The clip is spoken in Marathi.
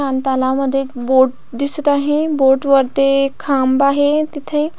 आणि तलावमध्ये एक बोट दिसत आहे आणि बोट वरती एक खांब आहे तिथे--